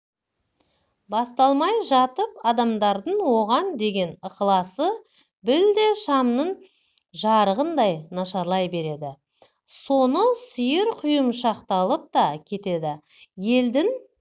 басталмай жатып адамдардың оған деген ықыласы білте шамның жарығындай нашарлай береді соңы сиырқұйымшақталып та кетеді елдің